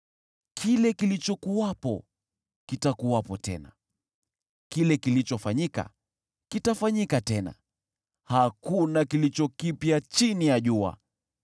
Kile kilichokuwepo kitakuwepo tena, kile kilichofanyika kitafanyika tena, hakuna kilicho kipya chini ya jua.